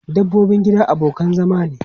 Dabbobin gida abokan zama ne.